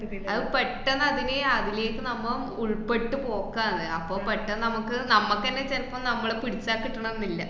അത് പെട്ടന്നതിനെ അതിലേക്ക് നമ്മ ഉൾപ്പെട്ടു പോക്കാണ്. അപ്പോ പെട്ടന്ന് നമുക്ക് നമ്മക്കന്നെ ചെലപ്പം നമ്മളെ പിടിച്ചാ കിട്ടണംന്നില്ല.